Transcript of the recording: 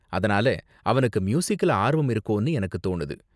அதனால, அவனுக்கு மியூசிக்ல ஆர்வம் இருக்கோனு எனக்கு தோணுது.